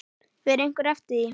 Fer einhver eftir því?